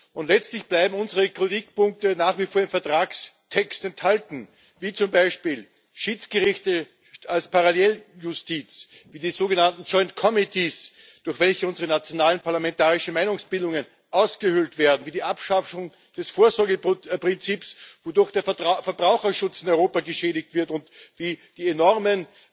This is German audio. Und letztlich bleiben unsere Kritikpunkte nach wie vor im Vertragstext enthalten, wie zum Beispiel Schiedsgerichte als Paralleljustiz, wie die sogenannten durch welche unsere nationalen parlamentarischen Meinungsbildungen ausgehöhlt werden, wie die Abschaffung des Vorsorgeprinzips, wodurch der Verbraucherschutz in Europa geschädigt wird, und wie die enormen